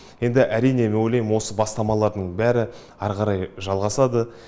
енді әрине мен ойлаймын осы бастамалардың бәрі әрі қарай жалғасады